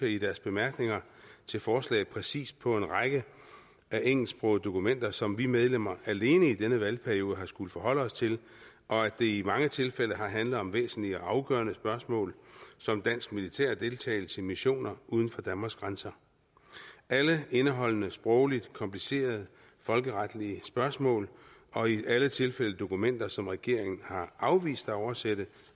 i deres bemærkninger til forslaget præcist peger på en række af engelsksprogede dokumenter som vi medlemmer alene i denne valgperiode har skulle forholde os til og at det i mange tilfælde har handlet om væsentlige og afgørende spørgsmål som dansk militær deltagelse i missioner uden for danmarks grænser alle indeholdende sprogligt komplicerede folkeretlige spørgsmål og i alle tilfælde dokumenter som regeringen har afvist at oversætte